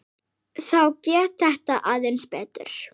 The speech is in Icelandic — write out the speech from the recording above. Þá gekk þetta aðeins betur.